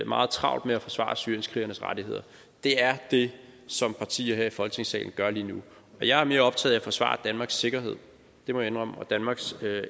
meget travlt med at forsvare syrienskrigernes rettigheder det er det som partier her i folketingssalen gør lige nu jeg mere optaget af at forsvare danmarks sikkerhed det må indrømme og danmarks